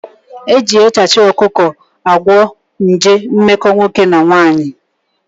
Eji echachị ọkụkọ agwọ nje mmekọ nwoke na nwaanyị